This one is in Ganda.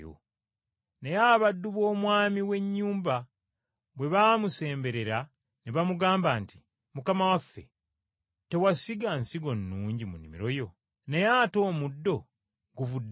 “Naye abaddu b’omwami w’ennyumba bwe baamusemberera ne bamugamba nti, ‘Mukama waffe, tewasiga nsigo nnungi mu nnimiro yo? Naye ate omuddo guvudde wa?’